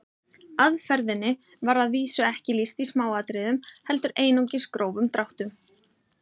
Aðferðinni var að vísu ekki lýst í smáatriðum heldur einungis grófum dráttum.